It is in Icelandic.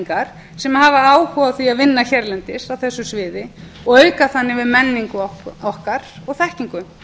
fyrirmyndarútlendingar sem hafi áhuga á að vinna hérlendis á þessu sviði og auka þannig við menningu okkar og þekkingu